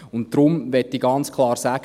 Deshalb möchte ich ganz klar sagen: